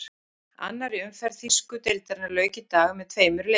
Annarri umferð þýsku deildarinnar lauk í dag með tveimur leikjum.